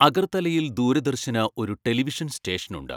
അഗർത്തലയിൽ ദൂരദർശന് ഒരു ടെലിവിഷൻ സ്റ്റേഷനുണ്ട്.